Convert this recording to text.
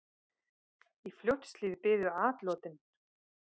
Í Fljótshlíð biðu atlotin.